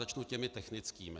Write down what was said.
Začnu těmi technickými.